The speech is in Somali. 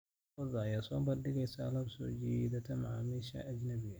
Lo'da lo'da ayaa soo bandhigaysa alaab soo jiidata macaamiisha ajnabiga ah.